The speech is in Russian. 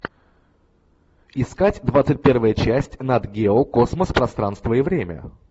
искать двадцать первая часть нат гео космос пространство и время